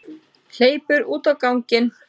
Hleypur út á ganginn.